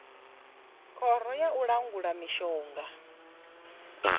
khoro ya u langula mishonga